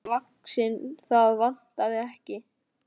Starfi sínu vaxinn, það vantaði ekki.